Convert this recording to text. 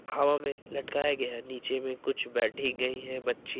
हवा में लटकाया गया है नीचे भी कुछ बैठी गई है बच्ची।